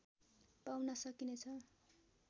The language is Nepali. पाउन सकिने छ